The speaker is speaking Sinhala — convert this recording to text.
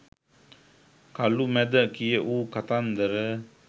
කළුමැද කියවූ කතන්දර